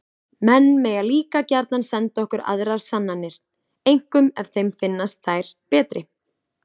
Menn mega líka gjarnan senda okkur aðrar sannanir, einkum ef þeim finnast þær betri!